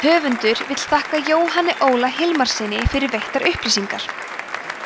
höfundur vill þakka jóhanni óla hilmarssyni fyrir veittar upplýsingar